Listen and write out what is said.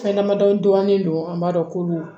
Fɛn damadɔ dɔɔnin don an b'a dɔn ko